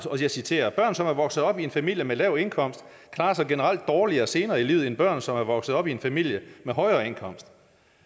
jeg citerer børn som er vokset op i en familie med lav indkomst klarer sig generelt dårligere senere i livet end børn som er vokset op i en familie med højere indkomster